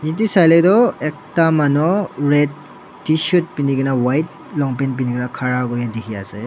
ede sai le toh ekta manu red tshirt penigina white long pant penigina khara kuri dikhiase.